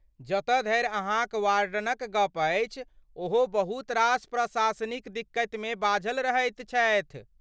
जतऽ धरि अहाँक वार्डनक गप अछि ओहो बहुत रास प्रशासनिक दिक्कतमे बाझल रहैत छथि।